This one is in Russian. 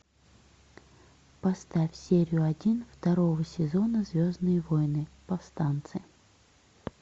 поставь серию один второго сезона звездные войны повстанцы